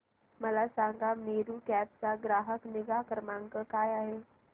मला सांगा मेरू कॅब चा ग्राहक निगा क्रमांक काय आहे